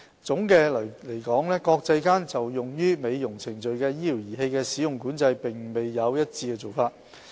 總的來說，國際間就用於美容程序的醫療儀器的使用管制並沒有一致做法。